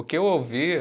O que eu ouvia